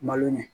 Malo ɲɛ